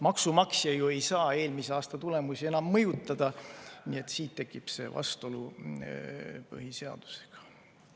Maksumaksja ei saa ju eelmise aasta tulemusi enam mõjutada ja siit tekib see vastuolu põhiseadusega.